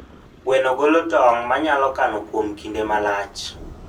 Gweno golo tong' manyalo kano kuom kinde malach.